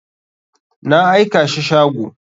Na aikashi shago.